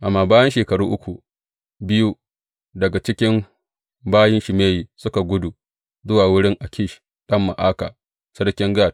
Amma bayan shekaru uku, biyu daga cikin bayin Shimeyi suka gudu zuwa wurin Akish ɗan Ma’aka, sarkin Gat.